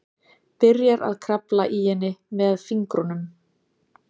Byrjar að krafla í henni með fingrunum.